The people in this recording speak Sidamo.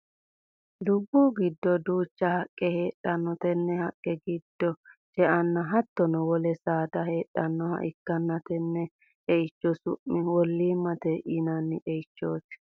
Dubu gido duucha haqe heedhano tenne haqe gido ce'anna hattono wole saada heedhanoha ikanna tenne ce'ichi su'mi woliimate yinnanni ce'ichooti.